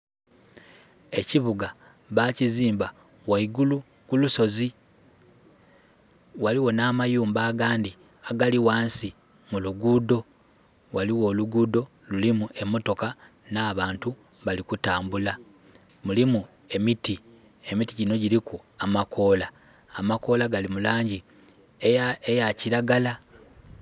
Ekibuga bakizimba ghaigulu ku lusozi. Ghaligho nh'amayumba agandhi agali ghansi mu luguudho. Ghaligho oluguudho lulimu emotoka nh'abantu bali kutambula. Mulimu emiti, emiti gino giliku amakoola. Amakoola gali mu laangi eya, eya kiragala.